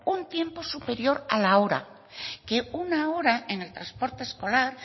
un tiempo superior a la hora una hora en el transporte escolar